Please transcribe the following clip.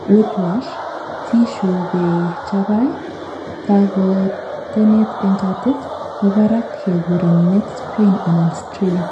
whiplash, tissue be chabai kakotenet en katit, korak kekuren neck sprain anan strain